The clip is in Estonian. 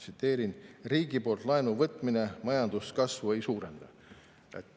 Tsiteerin: "Riigi poolt laenu võtmine majanduskasvu ei suurenda.